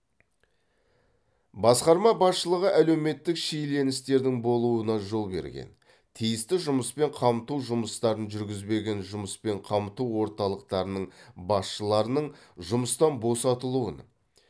басқарма басшылығы әлеуметтік шиеленістердің болуына жол берген тиісті жұмыспен қамту жұмыстарын жүргізбеген жұмыспен қамту орталықтарының басшыларының жұмыстан босатылуын